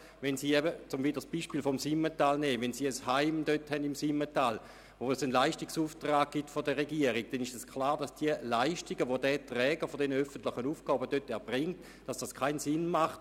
Wenn Sie zum Beispiel im Simmental ein Heim führen, für welches es einen Leistungsauftrag der Regierung gibt, dann ist es klar, dass eine zweisprachige Leistungserbringung keinen Sinn hat.